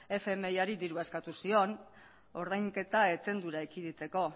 fmiri dirua eskatu zion ordainketa etendura ekiditeko